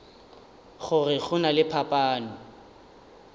gore go na le phapano